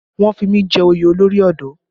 Wọ́n fi mí jẹ oyè olórí ọ̀dọ́